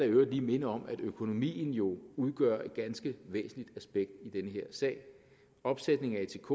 øvrigt minde om at økonomien jo udgør et ganske væsentligt aspekt i den her sag opsætning af atk